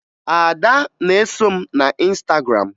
Ada na-eso m na Ịnstagram